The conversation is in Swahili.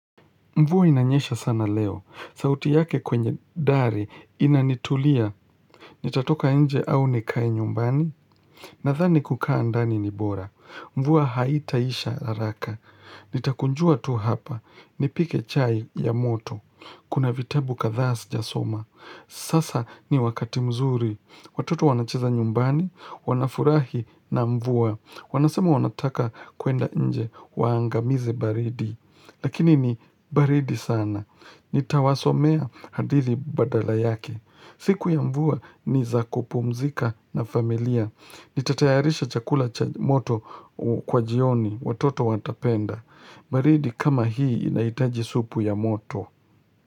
Mvua inanyesha sana leo, sauti yake kwenye dari inanitulia, nitatoka nje au nikae nyumbani, nadhani kukaa ndani ni bora. Mvua haitaisha haraka, nitakunjua tu hapa, nipike chai ya moto, kuna vitabu kadhaa sijasoma. Sasa ni wakati mzuri, watoto wanacheza nyumbani, wanafurahi na mvua, wanasema wanataka kuenda nje, waangamizi baridi. Lakini ni baridi sana. Nitawasomea hadithi badala yake. Siku ya mvua ni za kupumzika na familia. Nitatayarisha chakula moto kwa jioni watoto watapenda. Baridi kama hii inaitaji supu ya moto.